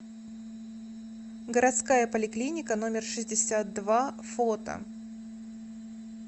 городская поликлиника номер шестьдесят два фото